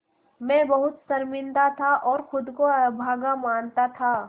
मैं बहुत शर्मिंदा था और ख़ुद को अभागा मानता था